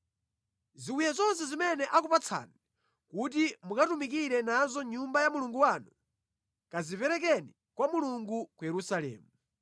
Ziwiya zonse zimene akupatsani kuti mukatumikire nazo mʼNyumba ya Mulungu wanu, kaziperekeni kwa Mulungu ku Yerusalemu.